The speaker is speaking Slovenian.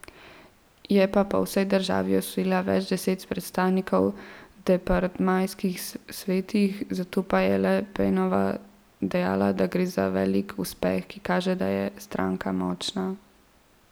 Je pa po vsej državi osvojila več deset predstavnikov v departmajskih svetih, zato je Le Penova dejala, da gre za velik uspeh, ki kaže, da je stranka močna.